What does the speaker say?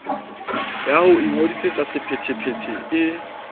ya ho ingodisetsa sephethephethe e